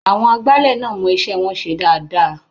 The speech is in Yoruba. Àwọn agbálẹ̀ náà mọ iṣẹ́ wọn ṣe dáadáa.